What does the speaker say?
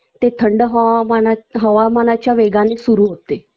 ते थंड हवा हवामानाच्या वेगाने सुरु होते